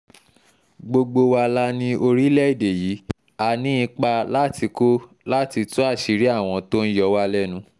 gbogbo wa la ní orílẹ̀‐èdè yìí á ní ipa láti kó láti tú àṣírí àwọn tó ń yọ wá lẹ́nu